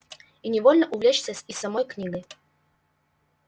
и невольно увлечься и самой книгой